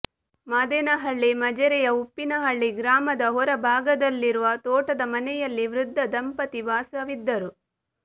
ಮಾದೇನಹಳ್ಳಿ ಮಜರೆಯ ಉಪ್ಪಿನಹಳ್ಳಿ ಗ್ರಾಮದ ಹೊರ ಭಾಗದಲ್ಲಿರುವ ತೋಟದ ಮನೆಯಲ್ಲಿ ವೃದ್ಧ ದಂಪತಿ ವಾಸವಿದ್ದರು